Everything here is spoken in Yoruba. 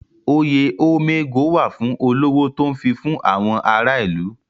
Oyè Ome ego wà fún olówó tó ń fifún àwọn ará ìlú.